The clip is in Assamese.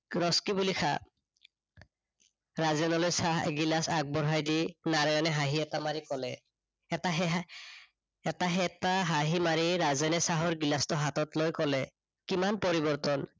ৰচকী বুলি খা ৰাজেনলৈ চাহ এগিলাচ আগবঢ়াই দি নাৰায়ণে হাঁহি এটা মাৰি কলে। এটা সেহা, এটা সেটা হাঁহি মাৰি ৰাজেনে চাহৰ গিলাচটো হাততলৈ কলে, কিমান পৰিৰ্ৱতন